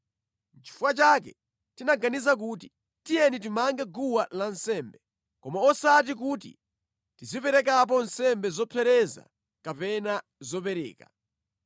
“Nʼchifukwa chake tinaganiza kuti, ‘Tiyeni timange guwa lansembe, koma osati kuti tiziperekapo nsembe zopsereza kapena zopereka.’